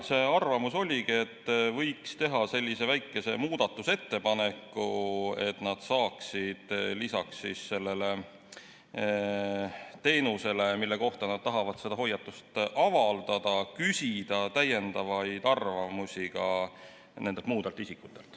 Nende arvamus oligi selline, et võiks teha sellise väikese muudatusettepaneku, nii et nad saaksid lisaks sellele teenusele, mille kohta nad tahavad hoiatuse avaldada, küsida täiendavaid arvamusi ka muudelt isikutelt.